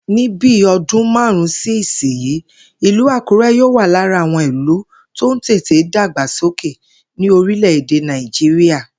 Ní bí o̩dún márùn-ún sí ìsinyìí, ìlú Àkúré̩ yóò wà lára àwo̩n ìlú tó ń tètè dàgbàsókè ní orílè̩-èdè Nàìjíríà